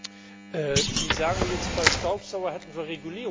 Sie sagen jetzt, bei Staubsaugern hätten wir Regulierungswut.